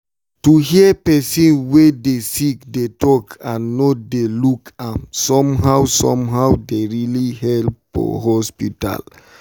to hear person wey dey sick dey talk and no dey look am somehow somehow dey really help for hospital.